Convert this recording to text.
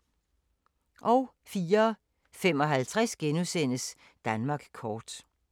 04:55: Danmark kort *